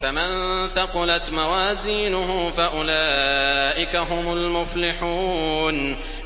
فَمَن ثَقُلَتْ مَوَازِينُهُ فَأُولَٰئِكَ هُمُ الْمُفْلِحُونَ